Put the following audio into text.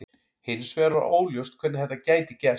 Hins vegar var óljóst hvernig þetta gæti gerst.